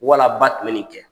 Wala ba tun be nin kɛ.